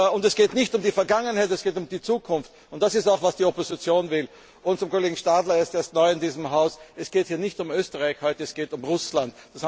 Und es geht nicht um die Vergangenheit, es geht um die Zukunft, und das ist auch, was die Opposition will. Zum Kollegen Stadler, er ist neu in diesem Haus Es geht heute nicht um Österreich, es geht um Russland.